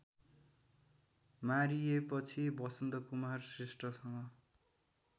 मारिएपछि Basantakumar श्रेष्ठसँग